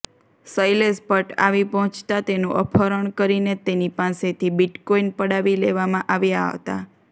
શૈલેષ ભટ્ટ આવી પહોંચતા તેનું અપહરણ કરીને તેની પાસેથી બિટકોઈન પડાવી લેવામાં આવ્યા હતા